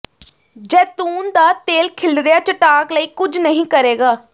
ਜ਼ੈਤੂਨ ਦਾ ਤੇਲ ਖਿਲਰਿਆ ਚਟਾਕ ਲਈ ਕੁਝ ਨਹੀਂ ਕਰੇਗਾ